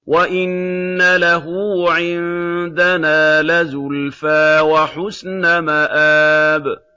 وَإِنَّ لَهُ عِندَنَا لَزُلْفَىٰ وَحُسْنَ مَآبٍ